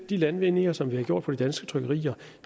de landvindinger som vi har gjort på de danske trykkerier